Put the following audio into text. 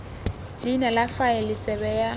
leina la faele tsebe ya